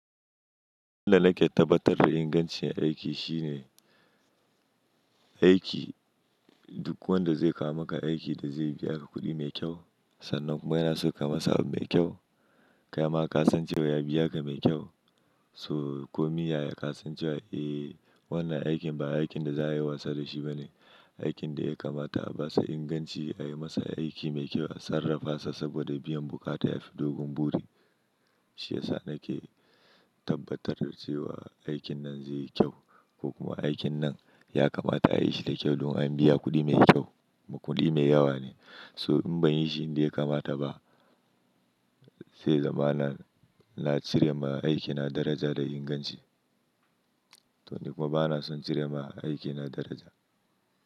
Duk da na ke tabbatar ingancin aiki shine aiki duk wanda zai kawo maka aiki da zai biya ka kuɗi mai kyau. Sannan kuma yana son ka masa abu mai kyau. Kaima ka san cewa ya biya ka mai kyau, so komi yaya ka san cewa, eh wannan aikin ba aikin da za a yi wasa da shi bane. Aikin da ya kamata a basa inganci a yi masa aiki mai kyau, a sarrafa sa saboda biyan bukata ya fi dogon buri. Shi ya sa na ke tabbatar da cewa aikin nan zai yi kyau ko kuma aikin nan ya kamata a yi shi da kyau domin an biya kuɗi mai kyau. Kuɗi mai yawa ne, so in ban yi shi inda ya kamata ba zai zama na cire ma aikina daraja da inganci. To ni kuma ba na son cire ma aikina daraja.